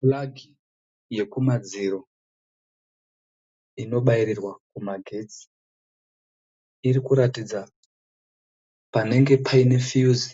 (Plug) yekumadziro. Inobairirwa kumagetsi. Irikuratidza panenge Paine (fuse)